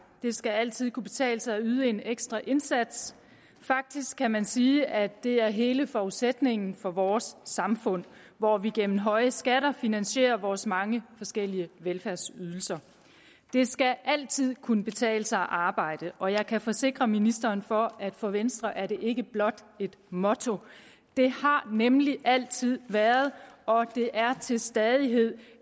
det skal altid kunne betale sig at yde en ekstra indsats faktisk kan man sige at det er hele forudsætningen for vores samfund hvor vi gennem høje skatter finansierer vores mange forskellige velfærdsydelser det skal altid kunne betale sig at arbejde og jeg kan forsikre ministeren for at for venstre er det ikke blot et motto det har nemlig altid været og det er til stadighed